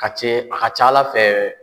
Ka ce a ka ca Ala fɛ